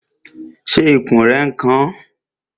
Ṣé ikùn rẹ n kan ọ?